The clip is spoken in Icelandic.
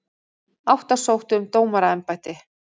Átta sóttu um dómaraembætti